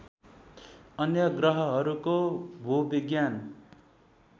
अन्य ग्रहहरूको भूविज्ञान